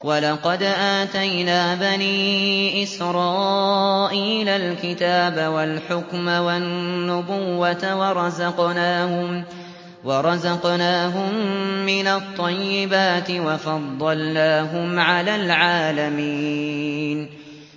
وَلَقَدْ آتَيْنَا بَنِي إِسْرَائِيلَ الْكِتَابَ وَالْحُكْمَ وَالنُّبُوَّةَ وَرَزَقْنَاهُم مِّنَ الطَّيِّبَاتِ وَفَضَّلْنَاهُمْ عَلَى الْعَالَمِينَ